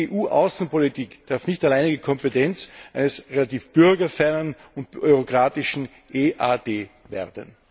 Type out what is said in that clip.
Die EU Außenpolitik darf nicht alleinige Kompetenz eines relativ bürgerfernen und bürokratischen EAD werden.